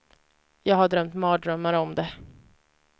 Jag har drömt mardrömmar om det.